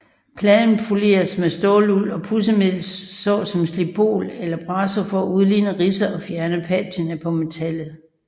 Pladen poleres med ståluld og pudsemiddel så som Slipol eller Brasso for at udligne ridser og fjerne patina på metallet